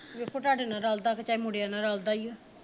ਵੇਖੋ ਤੁਹਾਡੇ ਨਾਲ ਰਲਦਾ ਕਿ ਚਾਹੇ ਮੁੰਡਿਆਂ ਨਾਲ ਰਲਦਾ ਈ ਓ